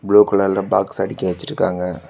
Blue கலர்ல box அடிக்கி வச்சிருக்காங்க.